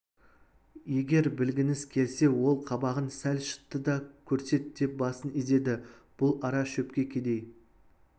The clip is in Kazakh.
егер білгіңіз келсе ол қабағын сәл шытты да көрсет деп басын изеді бұл ара шөпке кедей